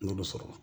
N y'olu sɔrɔ